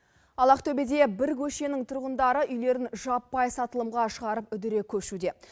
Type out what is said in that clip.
ал ақтөбеде бір көшенің тұрғындары үйлерін жаппай сатылымға шығарып үдере көшуде